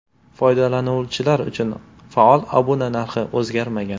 Foydalanuvchilar uchun faol obuna narxi o‘zgarmagan.